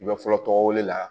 I bɛ fɔlɔ tɔgɔ la